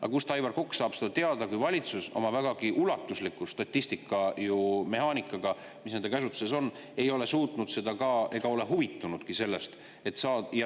Aga kust saab Aivar Kokk seda teada, kui valitsus oma vägagi ulatusliku statistika ja mehaanikaga, mis nende käsutuses on, ei ole seda suutnud ega ole sellest huvitunudki?